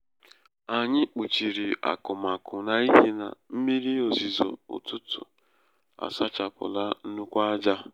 anyị kpuchiri akụmakụ n'ihi na mmírí ozizo ụtụtụ a sachapụla nnukwu ájá.